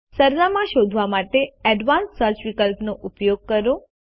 સરનામાં શોધવા માટે એડવાન્સ્ડ સર્ચ વિકલ્પનો ઉપયોગ કરો